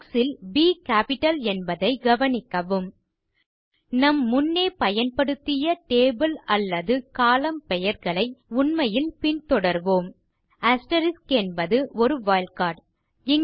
books ல் ப் capital என்பதைக் கவனிக்கவும் நாம் முன்னே பயன்படுத்திய டேபிள் அல்லது கோலம்ன் பெயர்களை உண்மையில் பின்தொடர்வோம் என்பது ஒரு வைல்ட் கார்ட்